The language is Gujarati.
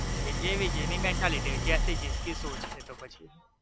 એટલે એ જીણી mentality અત્યાર થી जिसकी सोच એ તો પછી